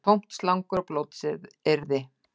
Tómt slangur og blótsyrði